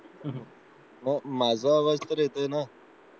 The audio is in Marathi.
माझा आवाज तर येतोय ना